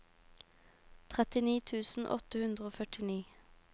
trettini tusen åtte hundre og førtini